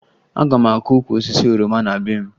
Aga m akụ ukwu osisi oroma na be m